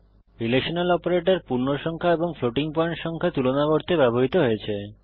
relational operator পূর্ণসংখ্যা এবং floating point সংখ্যা তুলনা করতে ব্যবহৃত হয়েছে